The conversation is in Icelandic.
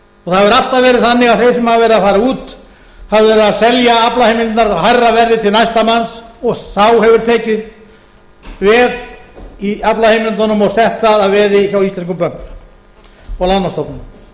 það hefur alltaf verið þannig að þeir sem hafa verið að fara út hafa verið að selja aflaheimildirnar hærra verði til næsta manns og þá hefur tekist verr í aflaheimildunum og selt það að veði hjá íslenskum bönkum og